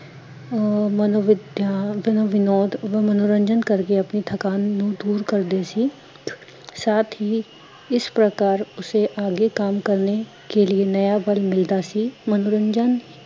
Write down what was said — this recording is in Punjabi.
ਅਹ ਮਨੋਵਿਧਯੰਤ ਵਿਨੋਦ ਓਦੋਂ ਮਨੋਰੰਜਨ ਕਰਕੇ ਆਪਣੀ ਥਕਾਨ ਨੂੰ ਦੂਰ ਕਰਦੇ ਸੀ ਸਾਥ ਹੀਂ ਇਸ ਪ੍ਰਕਾਰ ਉਸੇ ਆਗੇ ਕਾਮ ਕਰਨੇ ਕੇ ਲੀਏ ਨਯਾ ਬਲ ਮਿਲਦਾ ਸੀ, ਮਨੋਰੰਜਨ